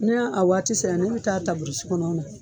Ne'a waati sera ne bɛ ta taa buru si kɔnɔ na.